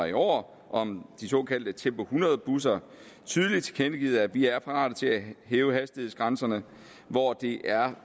i år om de såkaldte tempo hundrede busser tydeligt tilkendegivet at vi er parate til at hæve hastighedsgrænserne hvor det er